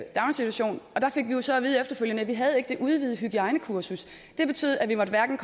daginstitution og der fik vi jo så at vide efterfølgende at vi ikke havde det udvidede hygiejnekursus det betød at vi hverken